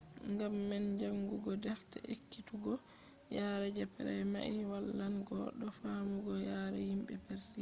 ngam man jaangugo defte ekkituggo yare je praima wallan goɗɗo faamugo yare yimɓe persiya